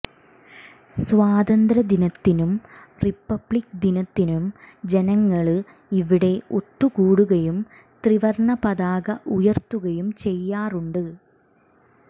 സ്വാതന്ത്ര്യ ദിനത്തിനും റിപ്പബ്ലിക് ദിനത്തിനും ജനങ്ങള് ഇവിടെ ഒത്തു കൂടുകയും ത്രിവര്ണ പതാക ഉയര്ത്തുകയും ചെയ്യാറുണ്ട്